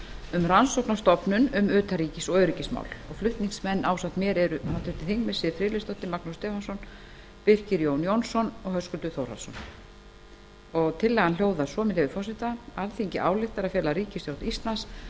um rannsóknarstofnun um utanríkis og öryggismál flutningsmenn ásamt mér eru háttvirtir þingmenn siv friðleifsdóttir magnús stefánsson birkir jón jónsson og höskuldur þórhallsson tillagan hljóðar svo með leyfi forseta alþingi ályktar að fela ríkisstjórn íslands að